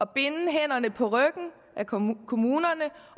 binde hænderne på ryggen af kommunerne kommunerne